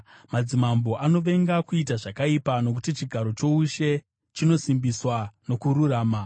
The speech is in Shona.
Madzimambo anovenga kuita zvakaipa, nokuti chigaro choushe chinosimbiswa nokururama.